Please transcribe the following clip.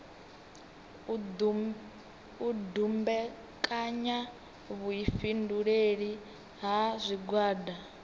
u dumbekanya vhuifhinduleli ha zwigwada